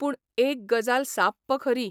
पूण एक गजाल साप्प खरी.